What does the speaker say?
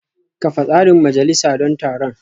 Kafa tsarin majalisa don taron